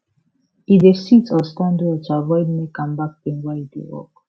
e dey sit or stand well to avoid neck and back pain while e dey work